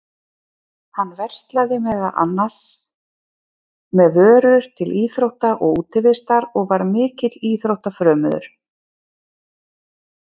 Hann verslaði meðal annars með vörur til íþrótta og útivistar og var mikill íþróttafrömuður.